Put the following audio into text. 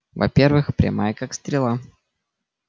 во-первых прямая как стрела